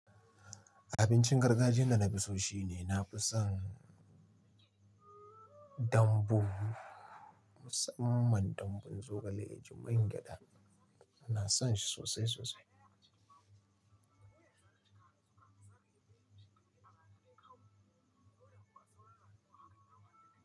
Abincin gargajiya da na fi so shi ne nafi son dambu, musamman dambun zogale yaji man gyada. Ina son shi sosai sosai.